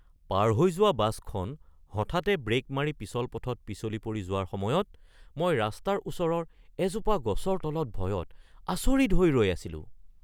পাৰ হৈ যোৱা বাছখন হঠাতে ব্ৰেক মাৰি পিছল পথত পিছলি পৰি যোৱাৰ সময়ত মই ৰাস্তাৰ ওচৰৰ এজোপা গছৰ তলত ভয়ত আচৰিত হৈ ৰৈ আছিলোঁ।